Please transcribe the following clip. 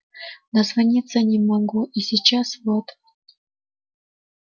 дозвониться не могу и сейчас вот